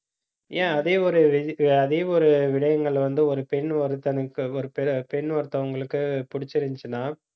ஏன் அதே ஒரு வி~ அதே ஒரு விடயங்கள் வந்து ஒரு பெண் ஒருத்தனுக்கு, ஒரு பெண் ஒருத்தவங்களுக்கு பிடிச்சிருந்துச்சுன்னா